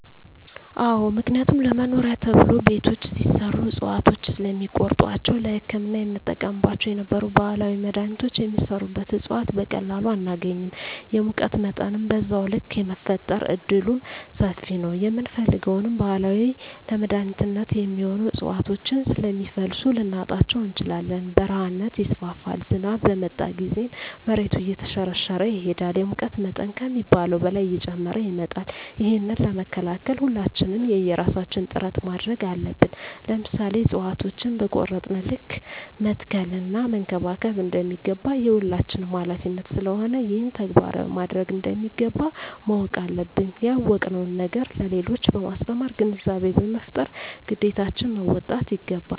አዎ ምክንያቱም ለመኖሪያ ተብሎ ቤቶች ሲሰሩ እፅዋቶችን ስለሚቆርጧቸዉ ለህክምና የምንጠቀምባቸው የነበሩ ባህላዊ መድሀኒቶች የሚሰሩበት እፅዋት በቀላሉ አናገኝም የሙቀት መጠንም በዛዉ ልክ የመፈጠር እድሉምሰፊ ነዉ የምንፈልገዉን ባህላዊ ለመድኃኒትነት የሚሆኑ እፅዋቶችን ስለሚፈልሱ ልናጣቸዉ እንችላለን በረሀነት ይስፋፋል ዝናብ በመጣ ጊዜም መሬቱ እየተሸረሸረ ይሄዳል የሙቀት መጠን ከሚባለዉ በላይ እየጨመረ ይመጣል ይህንን ለመከላከል ሁላችንም የየራሳችን ጥረት ማድረግ አለብን ለምሳሌ እፅዋቶችን በቆረጥን ልክ መትከል እና መንከባከብ እንደሚገባ የሁላችንም ሀላፊነት ስለሆነ ይህንን ተግባራዊ ማድረግ እንደሚገባ ማወቅ አለብን ያወቅነዉን ነገር ለሌሎች በማስተማር ግንዛቤ በመፍጠር ግዴታችን መወጣት ይገባል